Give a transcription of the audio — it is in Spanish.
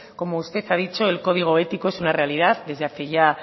como usted ha dicho el código ético es una realidad desde hace ya